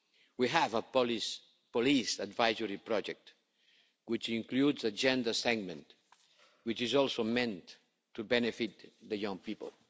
We have a police advisory project which includes a gender segment, which is also meant to benefit the young people.